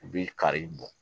U bɛ kari bɔ